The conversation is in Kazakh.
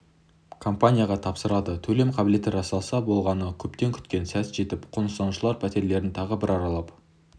компанияға тапсырады төлем қабілеті расталса болғаны көптен күткен сәт жетіп қоныстанушылар пәтерлерін тағы бір аралап